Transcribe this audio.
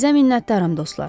Sizinə minnətdaram, dostlar.